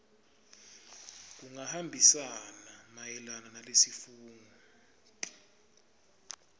kungahambisani mayelana nalesifungo